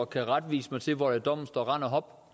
kan retvise mig til hvor der i dommen står rend og hop